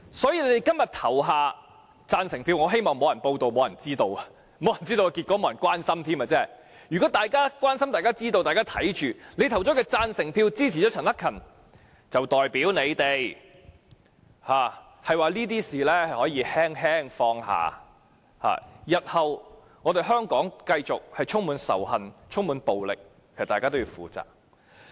所以，如果大家今天投下贊成票，我希望會沒人報道、沒人知道、沒人關心，因為一旦有人關心、知道、看着會議進行，你們投票支持陳克勤議員的行動便代表你們認為這些事情可以輕輕放下，香港日後如繼續充滿仇恨、充滿暴力，大家便需要負責。